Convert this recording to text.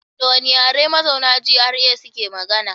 Da wane yare mazauna GRA suke magana?